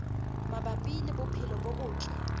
mabapi le bophelo bo botle